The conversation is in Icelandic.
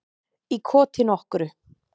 Í koti nokkru.